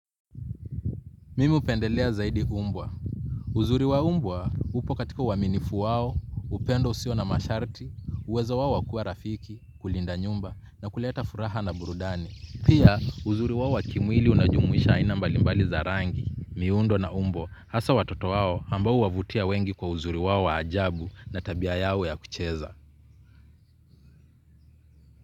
Mimi upendelea zaidi mbwa. Uzuri wa mbwa upo katika uwaminifu wao, upendo usio na masharti, uwezo wao wakua rafiki, kulinda nyumba na kuleta furaha na burudani. Pia uzuri wao wakimwili unajumuisha aina mbalimbali za rangi, miundo na umbo, hasa watoto wao ambao uwavutia wengi kwa uzuri wao wa ajabu na tabia yao ya kucheza.